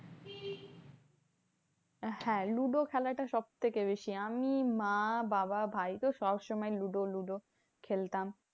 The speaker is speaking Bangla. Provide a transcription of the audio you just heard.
হ্যাঁ লুডো খেলাটা সবথেকে বেশি। আমি মা বাবা ভাই তো সবসময় লুডো লুডো খেলতাম।